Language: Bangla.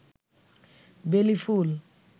বেলী ফুল